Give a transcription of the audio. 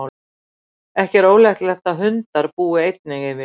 ekki er ólíklegt að hundar búi einnig yfir því